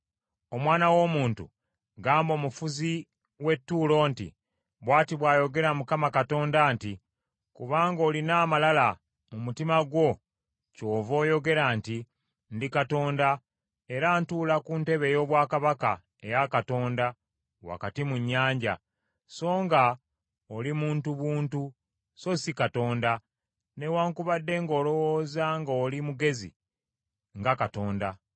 “Omwana w’omuntu, gamba omufuzi w’e Ttuulo nti, “Bw’ati bw’ayogera Mukama Katonda nti, Kubanga olina amalala mu mutima gwo kyova oyogera nti, ‘Ndi katonda, era ntuula ku ntebe ey’obwakabaka eya Katonda wakati mu nnyanja,’ songa oli muntu buntu, so si katonda, newaakubadde ng’olowooza nga oli mugezi nga katonda.